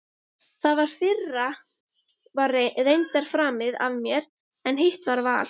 Það fyrra var reyndar framið af mér, en hitt var al